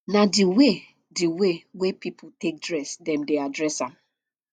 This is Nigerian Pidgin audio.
na di way di way wey person take dress dem dey address am